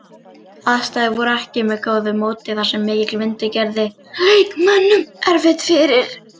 Aðstæður voru ekki með góðu móti þar sem mikill vindur gerði leikmönnum erfitt fyrir.